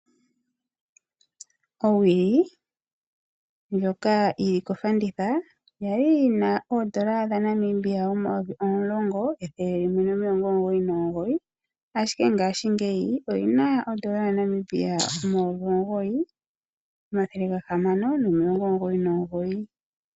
Owili ndjoka yili kofanditha kwali yina oondola dhaNamibia 10,199 ashike ngashi ngeyi oyina ondola yaNamibia 9, 699.